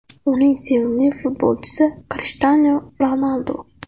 Uning sevimli futbolchisi Krishtianu Ronaldu.